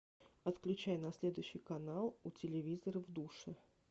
отключай на следующий канал у телевизора в душе